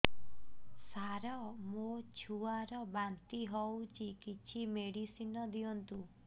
ସାର ମୋର ଛୁଆ ର ବାନ୍ତି ହଉଚି କିଛି ମେଡିସିନ ଦିଅନ୍ତୁ